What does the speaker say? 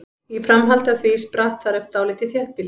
Í framhaldi af því spratt þar upp dálítið þéttbýli.